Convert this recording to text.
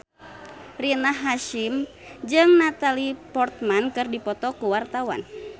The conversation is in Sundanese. Rina Hasyim jeung Natalie Portman keur dipoto ku wartawan